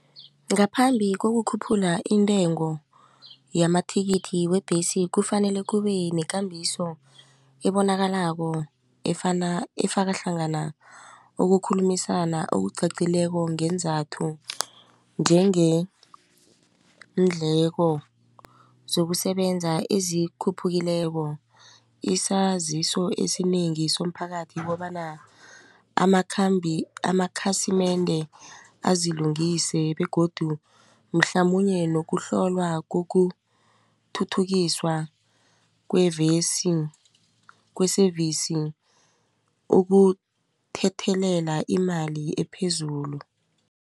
Ngaphambi kokukhuphula intengo yamathikithi webhesi kufanele kubenekambiso ebonakalako efana efakahlangana ukukhulumisana okucacileko ngeenzathu njengeendleko zokusebenza ezikhuphukileko. Isaziso esinengi somphakathi kobana amakhambi amakhasimende azilungise begodu mhlamunye nokuhlolwa kokuthuthukiswa kwevesi kwe-service ukuthethelela imali ephezulu.